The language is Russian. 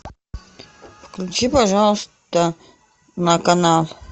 включи пожалуйста на канал